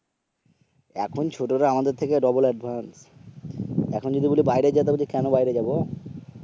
এখন ছোটরা আমাদের থেকে double advance, এখন যদি বলি বাইরে যা তো বলবে কেন বাইরে যাব